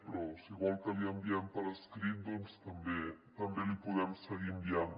però si vol que li enviem per escrit doncs també li podem seguir enviant